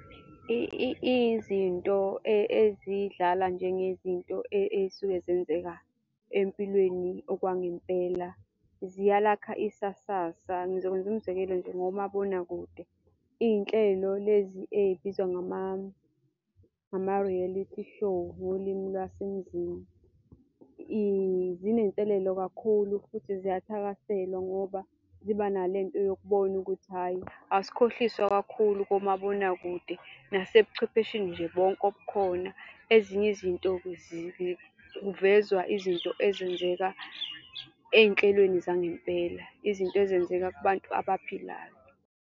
Izinto ezidlala njengezinto ey'suke zenzeka empilweni okwangempela ziyalakha isasasa. Ngizokwenza umzekelo nje ngomabonakude. Iy'nhlelo lezi ey'bizwa ngama-reality show ngolimi lwasemzini. Zinselelo kakhulu futhi ziyathakaselwa, ngoba ziba nale nto yokubona ukuthi hhayi asikhohliswa kakhulu komabonakude nase buchwepheshe nje bonke obukhona. Ezinye izinto-ke kuvezwa izinto ezenzeka ey'nhlelweni zangempela. Izinto ezenzeka kubantu abaphilayo.